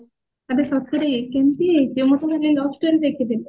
love story ଦେଖୁଥିଲି